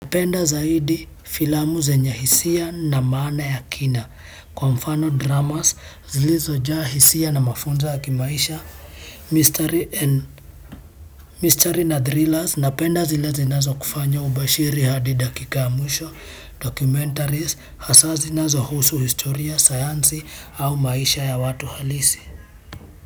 Napenda zaidi, filamu zenye hisia na maana ya kina, kwa mfano dramas, zilizojaa hisia na mafunzo ya kimaisha, mistery na thrillers napenda zile zinazokufanya ubashiri hadi dakika ya mwisho hasa zile zinazohusu historia sayansi au maisha ya watu halisi.